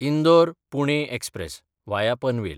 इंदोर–पुणे express (वाया Panvel)